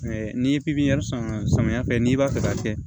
N'i ye pipiniyɛri san samiya fɛ n'i b'a fɛ k'a kɛ